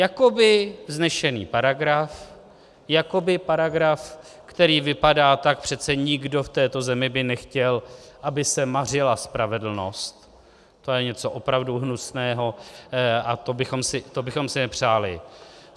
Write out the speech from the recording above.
Jakoby vznešený paragraf, jakoby paragraf, který vypadá - tak přece nikdo v této zemi by nechtěl, aby se mařila spravedlnost, to je něco opravdu hnusného a to bychom si nepřáli.